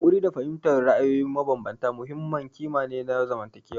Haƙuri da fahimtar ra'ayoyi mabambanta muhimmin ƙima ne na zamantakewa.